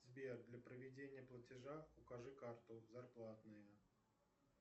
сбер для проведения платежа укажи карту зарплатную